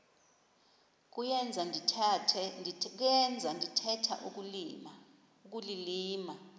kuyenza ndithetha ukulilima